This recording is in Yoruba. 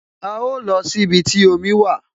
A lọ sí ibi tí omi wà